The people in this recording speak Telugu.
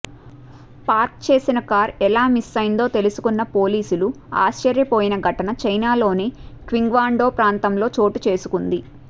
పార్క్ చేసిన కారు ఎలా మిస్సయిందో తెలుసుకున్న పోలీసులు ఆశ్చర్యపోయిన ఘటన చైనాలోని క్వింగ్డావో ప్రాంతంలో చోటుచేసుకుంది